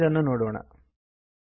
ಈಗ ಇದನ್ನು ನೋಡೋಣ